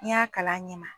N'i y'a kala a ɲɛ ma